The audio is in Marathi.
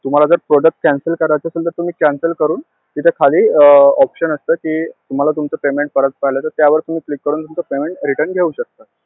तुम्हांला जर product cancel करायचं असेल तर, तुम्ही cancel करून तिथं खाली option असतं कि तुम्हांला तुमचं payment परत पाहिजे आहे का? त्यावर तुम्ही click करून तुमचं payment return घेऊ शकतात.